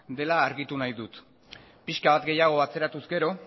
dela argitu nahi dut pixka bat gehiago atzeratuz gero